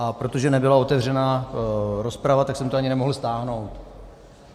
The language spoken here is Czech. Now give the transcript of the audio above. A protože nebyla otevřená rozprava, tak jsem to ani nemohl stáhnout.